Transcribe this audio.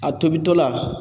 A tobitɔla